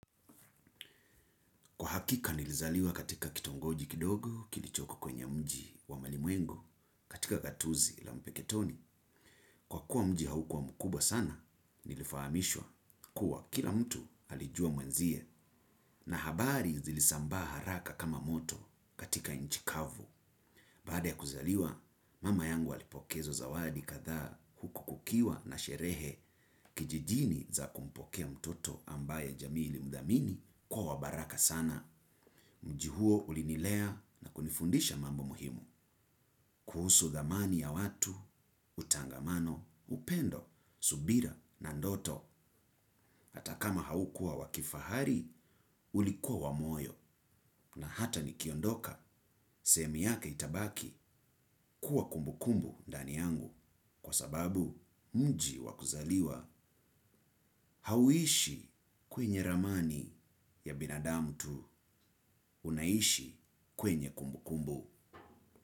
Kwa hakika nilizaliwa katika kitongoji kidogo kilichoko kwenye mji wa malimwengu katika gatuzi la mpeketoni. Kwa kuwa mji haukua mji mkubwa sana nilifahamishwa kuwa kila mtu alijua mwenzie, na habari zilisambaa haraka kama moto katika nchi kavu baada ya kuzaliwa mama yangu alipokezwa zawadi kadhaa huku kukiwa na sherehe kijijini za kumpokea mtoto ambaye jamii ilimdhamini kuwa wa baraka sana mji huo ulinilea na kunifundisha mambo muhimu. Kuhusu dhamani ya watu, utangamano, upendo, subira na ndoto. Hata kama haukua wakifahari, ulikua wa moyo na hata nikiondoka sehemu yake itabaki kuwa kumbukumbu ndani yangu kwa sababu mji wa kuzaliwa hauishi kwenye ramani ya binadamu tu unaishi kwenye kumbukumbu.